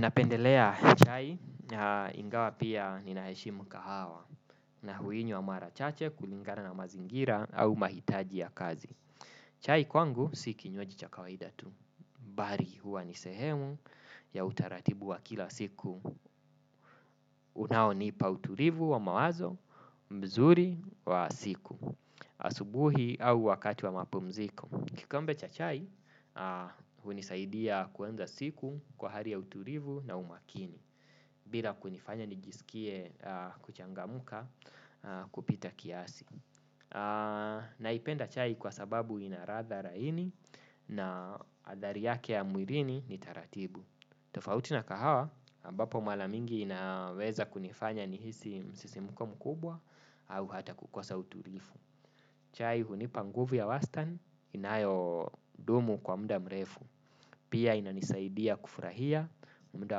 Napendelea chai na ingawa pia ninaheshimu kahawa na huinywa marachache kulingana na mazingira au mahitaji ya kazi. Chai kwangu si kinywaji cha kawaida tu. Bali huwa nisehemu ya utaratibu wa kila siku. Unaonipa utulivu wa mawazo, mzuri wa siku. Asubuhi au wakati wa mapumziko. Kikombe cha chai, hunisaidia kuanza siku kwa hali ya utulivu na umakini. Bila kunifanya nijisikie kuchangamuka kupita kiasi. Naipenda chai kwa sababu inaladha laini na adhari yake ya mwirini ni taratibu. Tofauti na kahawa, ambapo maramingi inaweza kunifanya nihisi msisimko mukubwa au hata kukosa utulivu. Chai hunipa nguvu ya wastani inayo dumu kwa muda mrefu. Pia inanisaidia kufurahia muda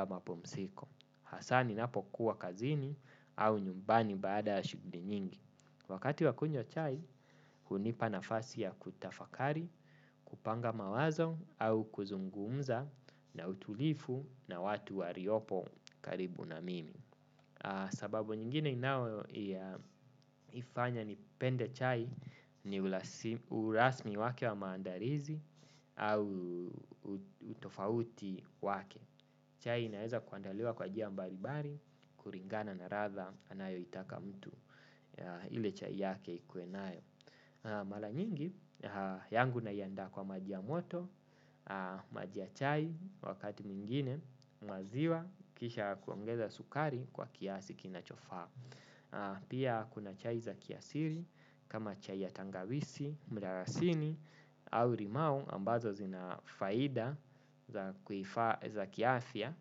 wa mapumziko hasa ninapo kuwa kazini au nyumbani baada ya shughuli nyingi. Wakati wakunywa chai, hunipa nafasi ya kutafakari, kupanga mawazo au kuzungumza na utulivu na watu waliopo karibu na mimi. Sababu nyingine inayo ifanya nipende chai ni urasmi wake wa maandalizi au utofauti wake. Chai inaeza kuandaliwa kwa njia mbalibali, kulingana na ladha anayo itaka mtu, ile chai yake ikue nayo. Maranyingi, yangu naiandaa kwa maji ya moto, maji ya chai wakati mwingine, maziwa, kisha kuongeza sukari kwa kiasi kinachofaa. Pia kuna chai za kiasili kama chai ya tangawizi, mdalasini au limau ambazo zinafaida za kiafya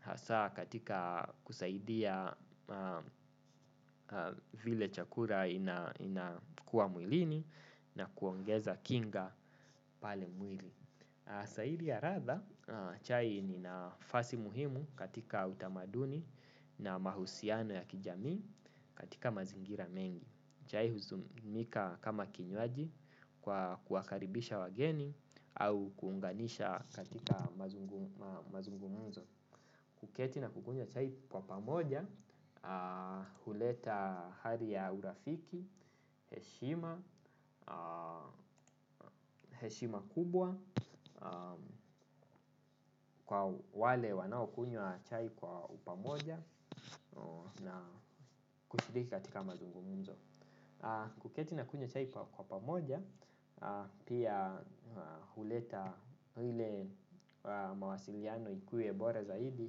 hasa katika kusaidia vile chakula inakua mwilini na kuongeza kinga pale mwili. Zaidi ya ladha chai ni nafasi muhimu katika utamaduni na mahusiano ya kijamii katika mazingira mengi. Chai huzumika kama kinywaji kwa kuwakaribisha wageni au kuunganisha katika mazungumuzo. Kuketi na kukunywa chai kwa pamoja, huleta hali ya urafiki, heshima, heshima kubwa, kwa wale wanao kunywa chai kwa upamoja na kushiriki katika mazungumuzo. Kuketi na kunywa chai kwa pamoja, pia huleta ile mawasiliano ikuwe bora zaidi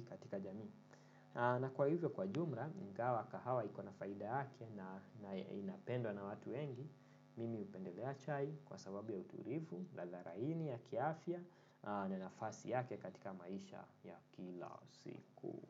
katika jamii. Na kwa hivyo kwa jumla, ingawa kahawa iko na faida yake na inapendwa na watu wengi mimi hupendelea chai kwa sababu ya utulivu, ladha laini ya kiafya na nafasi yake katika maisha ya kila siku.